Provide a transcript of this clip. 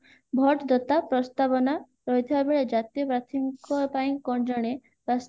vote ଦତା ପ୍ରସ୍ତାବନା ରହିଥିବା ବେଳେ ଜାତୀୟ ପ୍ରାର୍ଥୀଙ୍କ ଜଣେ ପ୍ରାସ